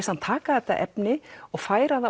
hann taka þetta efni og færa það